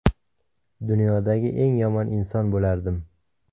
Dunyodagi eng yomon inson bo‘lardim.